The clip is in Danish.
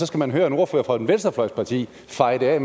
skal man høre en ordfører fra et venstrefløjsparti feje det af